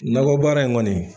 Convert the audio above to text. Nakɔ baara in kɔni